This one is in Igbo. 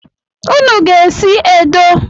Unu ga-esi edo